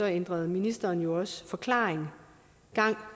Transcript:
ændrede ministeren også forklaring gang